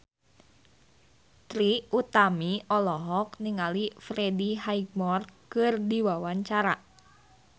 Trie Utami olohok ningali Freddie Highmore keur diwawancara